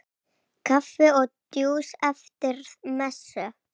Kaffi og djús eftir messu.